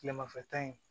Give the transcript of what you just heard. Tilemafɛta in